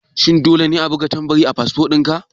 Shin dole ne a buga tambari a fasfo dinka?